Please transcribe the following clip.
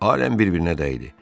Aləm bir-birinə dəydi.